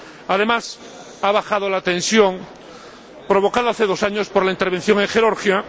Además, ha bajado la tensión provocada hace dos años por la intervención en Georgia.